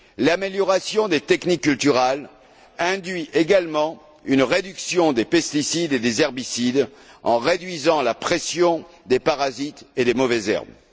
L'amélioration des techniques culturales induit également une réduction des pesticides et des herbicides, en réduisant la pression des parasites et des mauvaises herbes.